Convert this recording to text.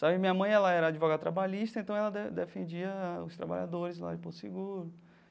Sabe, minha mãe, ela era advogada trabalhista, então ela de defendia os trabalhadores lá de Porto Seguro.